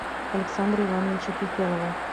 александра ивановича фефелова